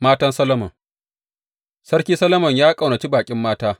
Matan Solomon Sarki Solomon ya ƙaunaci baƙin mata.